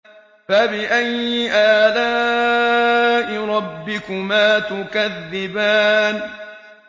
فَبِأَيِّ آلَاءِ رَبِّكُمَا تُكَذِّبَانِ